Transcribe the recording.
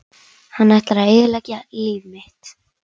Hann ætlar að eyðileggja líf mitt!